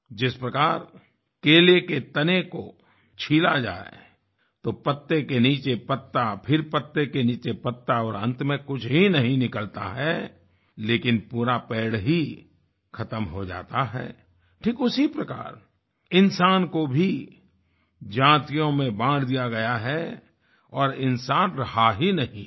जिस प्रकार केले के तने को छिला जाए तो पत्ते के नीचे पत्ता फिर पत्ते के नीचे पत्ता और अंत में कुछ नही निकलता है लेकिन पूरा पेड़ खत्म हो जाता है ठीक उसी प्रकार इंसान को भी जातियों में बाँट दिया गया है और इंसान रहा ही नहीं है